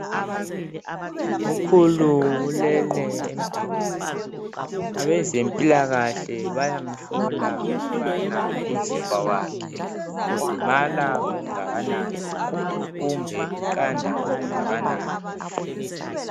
Ukhulu ulele embhedeni . Abezempilakahle bayamhlola ukubana umzimba wakhe ukhudumala okungakanani kumbe uqanda okungakanani.